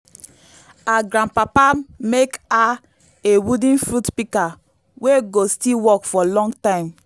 her grandpapa mek her a wooden fruit pika wey go still work for long time